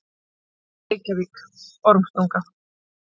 Reykjavík: Ormstunga.